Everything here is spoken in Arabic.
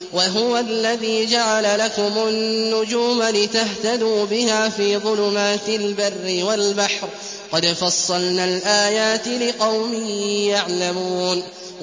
وَهُوَ الَّذِي جَعَلَ لَكُمُ النُّجُومَ لِتَهْتَدُوا بِهَا فِي ظُلُمَاتِ الْبَرِّ وَالْبَحْرِ ۗ قَدْ فَصَّلْنَا الْآيَاتِ لِقَوْمٍ يَعْلَمُونَ